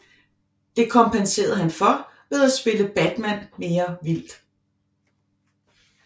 Det kompenserede han for ved at spille Batman mere vildt